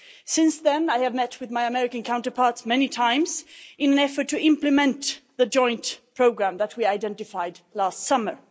Since then, I have met with my American counterparts many times in an effort to implement the joint programme that we identified last summer.